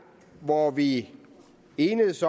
hvor vi enedes